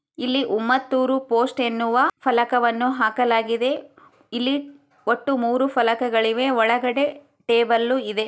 ಇಲ್ಲಿ ಉಮ್ಮತ್ತೂರು ಪೋಸ್ಟ್ ಎನ್ನುವ ಫಲಕವನ್ನು ಹಾಕಲಗಿದೆ. ಇಲ್ಲಿ ಒಟ್ಟು ಮೂರು ಫಲಕಗಳಿವೆ ಒಳ್ಗಡೆ ಟೇಬಲ್ಲು ಇದೆ.